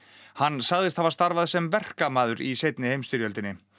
hann sagðist hafa starfað sem verkamaður í seinni heimsstyrjöld